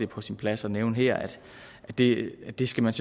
på sin plads at nævne her at det at det skal man